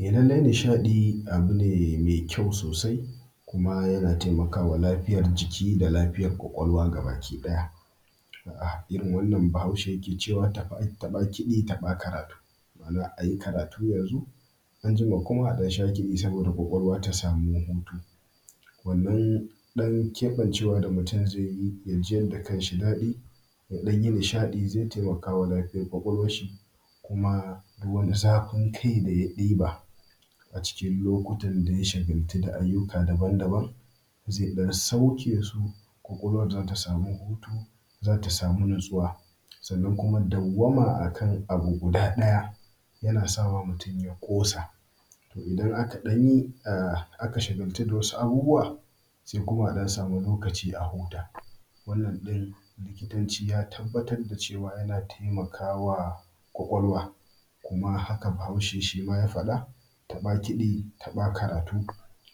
A lallai nisadi abu ne me kyau sosai kuma yana taimaka wa lafiyar jikin da lafiyar kwakwalwa gabakiɗaya. A yayin da Bahaushe yake cewa taba-kidi taɓa-karatu ma’ana za ai karatu yanzu anjima kuma a sha kidi saboda kwakwalwa ta samu hutu wannan ɗan kebancewa da mutum zai a ciyar da kan shi daɗi ya ɗan yi nishaɗi zai taimaka wa lafiyar kwakwalwanshi kuma duk wanni zafin kai da ya ɗiba a cikin lokutan da ya shagaltu da abubbuwa daban-daban zai ɗan sauke su ko kwakwalwan za samu za ta samu natsuwa kuma dauwama akan abu guda ɗaya yana sawa mutumya ƙosa to idan aka ɗanyi a a ka shagatu da wasu abubbuwa se kuma asamu lokaci a huta wannan ɗin likitanci ya tabbatar da cewa yana taimakawa kwakwalwwa kuma hakama bahaushe shima ya faɗa taba kidi taba karatu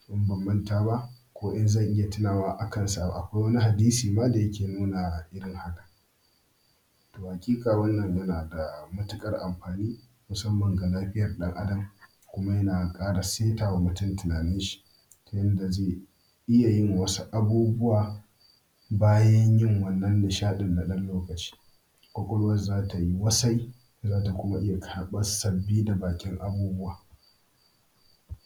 in banmanta ba ko in zan iya tunawa akansa akwaima wannan hadisi dake nuna hakan to haƙiƙa wannan yana da matuƙar amafini musamman ga lafiyar ɗan adam kuma yana ƙara saita wa mutum tunanin shi yanda ze iya yin wasu abubbuwa bayan yai wannan nishaɗin na ɗan lokaci kwakwalwwansi tayi wasai zata kuma ɗauka sabbin da baƙin abubbuwa.